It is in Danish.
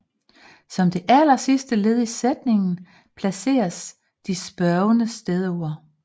Som det allersidste led i sætningen placeres de spørgende stedord